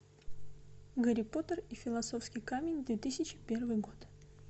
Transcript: гарри поттер и философский камень две тысячи первый год